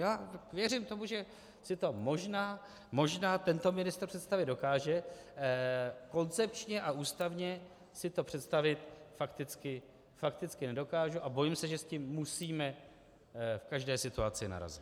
Já věřím tomu, že si to možná tento ministr představit dokáže, koncepčně a ústavně si to představit fakticky nedokážu a bojím se, že s tím musíme v každé situaci narazit.